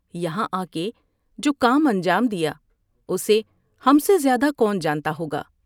یہاں آ کے جو کام انجام دیا اسے ہم سے زیادہ کون جانتا ہوگا ۔